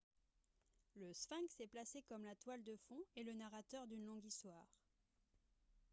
le sphinx est placé comme la toile de fond et le narrateur d'une longue histoire